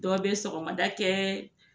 Dɔ be sɔgɔmada kɛ